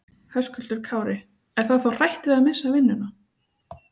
Höskuldur Kári: Er það þá hrætt við að missa vinnuna?